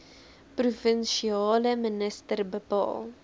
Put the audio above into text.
provinsiale minister bepaal